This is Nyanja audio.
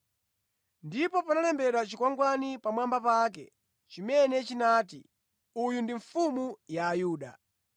Ndipo panalembedwa chikwangwani pamwamba pake chimene chinati: uyu ndi mfumu ya ayuda .